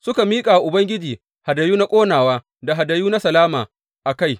Suka miƙa wa Ubangiji hadayu na ƙonawa da hadayu na salama a kai.